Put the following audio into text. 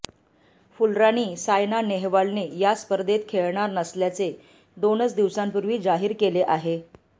फुलराणी सायना नेहवालने या स्पर्धेत खेळणार नसल्याचे दोनच दिवसांपूर्वी जाहीर केले आहे